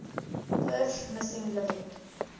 birth missing living